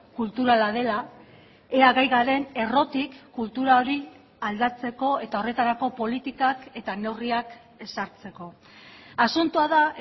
kulturala dela ea gai garen errotik kultura hori aldatzeko eta horretarako politikak eta neurriak ezartzeko asuntoa da